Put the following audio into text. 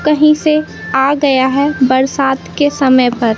कहीं से आ गया है बरसात के समय पर।